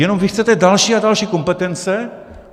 Jenom vy chcete další a další kompetence.